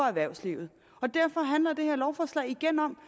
erhvervslivet derfor handler det her lovforslag igen om